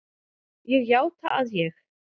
Ég játa að ég